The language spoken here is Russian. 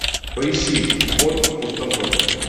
поищи вход в пустоту